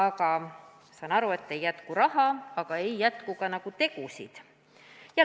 Ma saan aru, et ei jätku raha, aga ei jätku ka nagu tegusid.